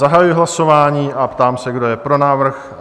Zahajuji hlasování a ptám se, kdo je pro návrh?